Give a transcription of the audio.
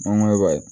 Mangoro